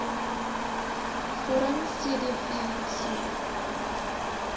vorm cdv saam